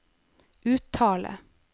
uttale